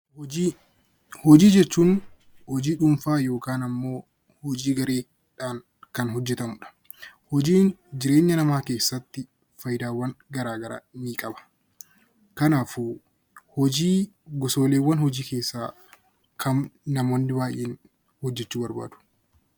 Hojii Hojii jechuun hojii dhuunfaa yookaan ammoo hojii garee dhaan kan hojjetamu dha. Hojiin jireenta namaa keessatti faayidaawwan gara garaa nii qaba. Kanaafuu honii gosooleewwan hojii keessaa kam namoonni baay'een hojjechuu jaallatu?